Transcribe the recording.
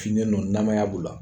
Finen nu namaya b'ula